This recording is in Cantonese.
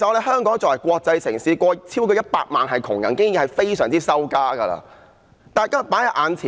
香港作為國際城市，竟有超過100萬貧窮人口，這已是非常丟臉的事。